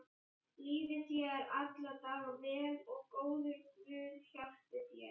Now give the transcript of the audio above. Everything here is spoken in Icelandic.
Líði þér alla daga vel og góður guð hjálpi þér.